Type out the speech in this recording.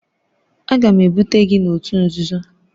Aga m ebute gị n'òtù nzuzo!